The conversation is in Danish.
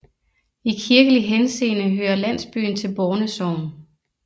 I kirkelig henseende hører landsbyen til Borne Sogn